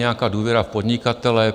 Nějaká důvěra v podnikatele.